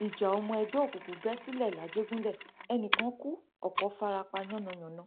ìjà ọmọ ẹgbẹ òkùnkùn bẹ sílẹ làjẹgúnlẹ ẹnì kan kù ọpọ fara pa yánnayànna